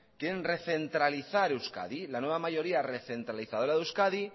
quieren recentralizar euskadi la nueva mayoría recentralizadora de euskadi